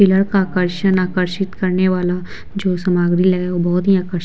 pillar का आकर्षण आकर्षित करने वाला जो सामग्री ले वो बहुत ही आकर्षक --